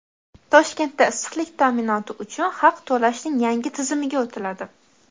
Toshkentda issiqlik ta’minoti uchun haq to‘lashning yangi tizimiga o‘tiladi.